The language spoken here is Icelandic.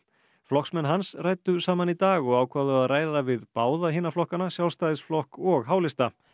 flokksmenn hans ræddu saman í dag og ákváðu að ræða við báða hina flokkanna Sjálfstæðisflokk og h lista